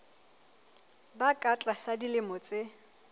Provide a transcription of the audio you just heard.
ba ka tlasa dilemo tse